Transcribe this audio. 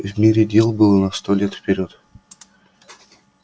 в мире дел было на сто лет вперёд